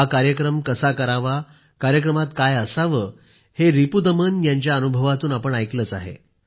हा कार्यक्रम कसा करावाकार्यक्रमात काय असावे हे रिपुदमन यांच्या अनुभवातून आपण ऐकले आहे